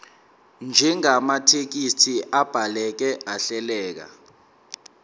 njengamathekisthi abhaleke ahleleka